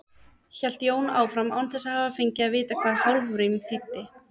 hélt Jón áfram, án þess að hafa fengið að vita hvað hálfrím þýddi.